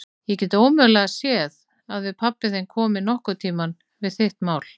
Ég get ómögulega séð að pabbi þinn komi nokkuð við þitt mál.